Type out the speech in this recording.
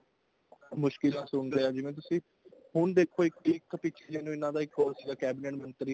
ਮੁਸ਼ਕਿਲਾਂ ਸੁਣ ਰਿਹਾ ਜਿਵੇਂ ਤੁਸੀਂ ਹੁਣ ਦੇਖੋ ਇੱਕ ਪਿੱਛੇ ਜੇ ਨੂੰ ਇਹਨਾ ਦਾ ਇੱਕ ਉਹ ਸੀਗਾ ਕੇਬਿਨੇਟ ਮੰਤਰੀ